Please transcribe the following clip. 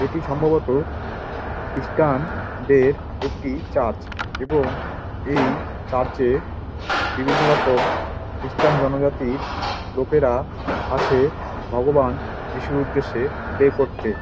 এটি সম্ভবত খ্রিস্টান দেড় একটি চার্চ এবং এই চার্চ -এ বিভিন্ন রকম খ্রিস্টান জন জাতির লোকেরা আসে ভগবান যীশুর উদ্দেশে প্রেয় করতে ।